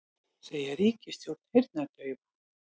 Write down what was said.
Segja ríkisstjórn heyrnardaufa